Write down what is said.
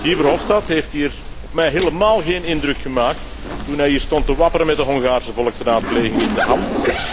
Guy Verhofstadt heeft hier op mij helemaal geen indruk gemaakt toen hij hier stond te wapperen met de Hongaarse volksraadpleging in de hand.